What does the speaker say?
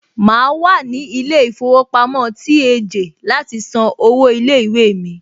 Màá wà ní ilé ìfowópamọ́ TAJ láti san owó ilé ìwé mi.